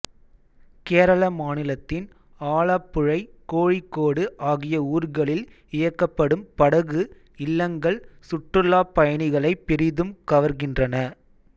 கேரள மாநிலத்தின் ஆலப்புழை கோழிக்கோடு ஆகிய ஊர்களில் இயக்கப்படும் படகு இல்லங்கள் சுற்றுலாப் பயணிகளைப் பெரிதும் கவர்கின்றன